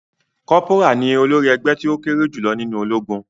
Corporal ní olórí ègbé tí o kéré jùlọ nínú ológun.